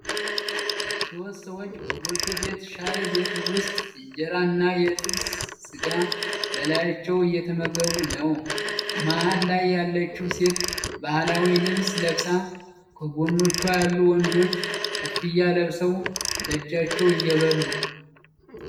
ሦስት ሰዎች በጎጆ ቤት ሻይ ቤት ውስጥ ኢንጀራ እና የተጠበሰ ስጋ በላያቸው እየተመገቡ ነው። መሀል ላይ ያለችው ሴት ባህላዊ ልብስ ለብሳ፣ ከጎኖቿ ያሉት ወንዶች ኮፍያ ለብሰው በእጃቸው እየበሉ።